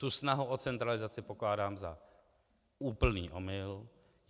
Tu snahu o centralizaci pokládám za úplný omyl.